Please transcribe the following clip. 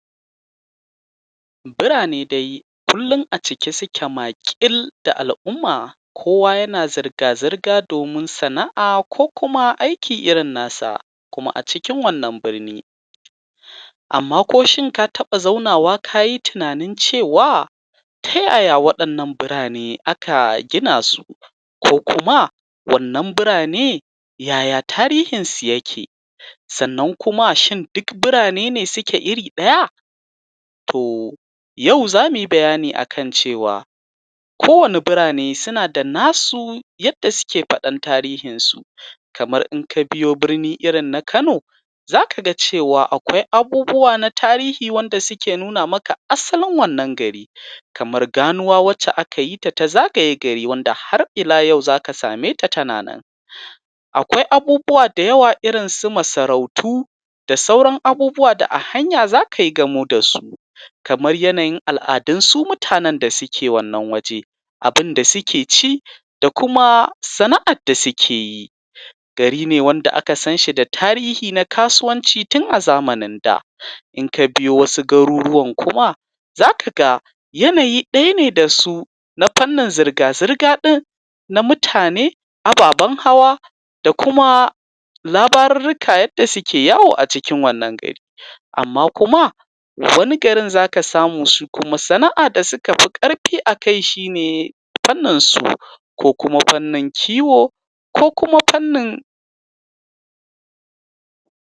Burane dai kullun a cike suke maƙil da al'umma, kowa yana zirga-zirga domin sana'a, ko kuma aiki irin nasa, kuma a cikin wannan birni. Amma ko shin ka taɓa zaunawa kayi tunanin cewa ta yaya waɗannan burane aka gina su, ko kuma wannan burane yaya tarihinsu yake. Sannan kuma shin dik burane ne suke iri ɗaya? Toh, yau zamuyi bayani a kan cewa kowane burane suna da nasu yadda suke faɗan tarihin su, kamar inka biyo burni irin na kano, zaka ga cewa akwai abubuwa na tarihi wanda suke nuna maka asalin wannan gari. Kamar ganuwa wacce aka yita ta zagaye gari, wanda har ila yau zaka sameta tana nan. Akwai abubuwa da yawa irin su masarautu, da sauran abubuwa da a hanya zakayi gamo da su. Kamar yanayin al'adun su mutanen da suke wannan waje, abunda suke ci, da kuma sana'ad da sikeyi. Gari ne wanda aka sanshi da tarihi na kasuwanci tun a zamanin daa. In ka biyo wasu garuruwan kuma zaka ga yanayi ɗaya ne da su na fannin zirga-zirga ɗin, na mutane, ababan hawa, da kuma labarurruka yadda suke yawo a cikin wannan gari. Amma kuma wani garin zaka samu su kuma sana'a da suka fi ƙarfi a kai shine; fannin suu, ko kuma fannin kiwo, ko kuma fannin